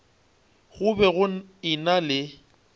go be go ena le